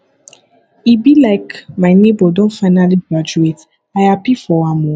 e be like my nebor don finally graduate i happy for am o